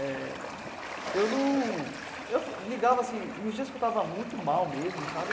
É... Eu num... Eu ligava assim... Nos dias que eu tava muito mal mesmo, sabe?